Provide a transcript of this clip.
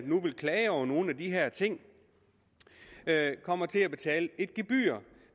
nu vil klage over nogle af de her ting kommer til at betale et gebyr